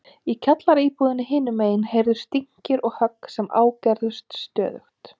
Í kjallaraíbúðinni hinum megin heyrðust dynkir og högg sem ágerðust stöðugt.